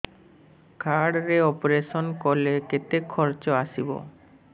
card ରେ operation କଲେ କେତେ ଖର୍ଚ ଆସିବ